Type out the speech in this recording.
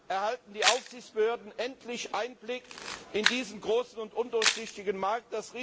erhalten die Aufsichtsbehörden endlich Einblick in diesen großen und undurchsichtigen Markt.